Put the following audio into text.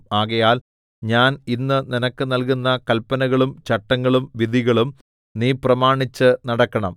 ആകയാൽ ഞാൻ ഇന്ന് നിനക്ക് നൽകുന്ന കല്പനകളും ചട്ടങ്ങളും വിധികളും നീ പ്രമാണിച്ച് നടക്കണം